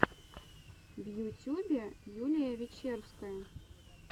в ютюбе юлия вечерская